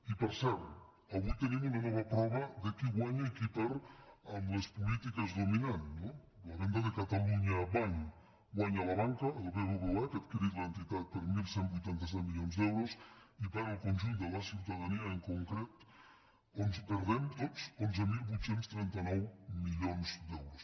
i per cert avui tenim una nova prova de qui guanya i qui perd amb les polítiques dominants no la venda de catalunya banc guanya la banca el bbva que ha adquirit l’entitat per onze vuitanta set milions d’euros i perd el conjunt de la ciutadania en concret perdem tots onze mil vuit cents i trenta nou milions d’euros